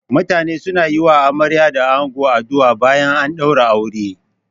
Mutane suna yi wa amarya da ango addu'a bayan an ɗaura aure.